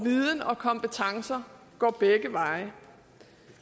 viden og kompetencer går begge veje